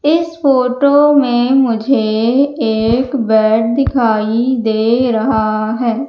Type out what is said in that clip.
इस फोटो में मुझे एक बैट दिखाई दे रहा है।